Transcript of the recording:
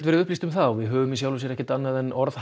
verið upplýst um það og við höfum í sjálfu sér ekkert annað en orð